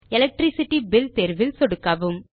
electricity bill தேர்வில் சொடுக்கவும்